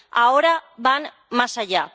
Ahora van más allá.